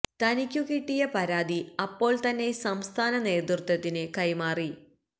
തനിക്കു കിട്ടിയ പരാതി അപ്പോൾ തന്നെ സംസ്ഥാന നേതൃത്വത്തിനു കൈമാറി